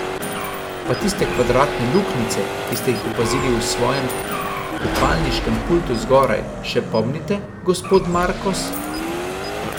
Pa tiste kvadratne luknjice, ki ste jih opazili v svojem kopalniškem pultu zgoraj, še pomnite, gospod Markos?